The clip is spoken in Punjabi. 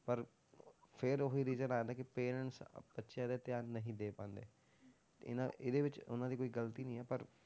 ਪਰ ਫਿਰ ਉਹੀ reason ਆ ਜਾਂਦਾ ਕਿ parents ਅਹ ਬੱਚਿਆਂ ਤੇ ਧਿਆਨ ਨਹੀਂ ਦੇ ਪਾਉਂਦੇ ਤੇ ਇਹਨਾਂ ਇਹਦੇ ਵਿੱਚ ਉਹਨਾਂ ਦੀ ਕੋਈ ਗ਼ਲਤੀ ਨੀ ਹੈ ਪਰ